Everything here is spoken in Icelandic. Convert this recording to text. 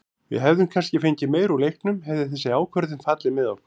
Við hefðum kannski fengið meira úr leiknum hefði þessi ákvörðun fallið með okkur.